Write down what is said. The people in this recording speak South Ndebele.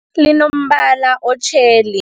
Linombala otjheli.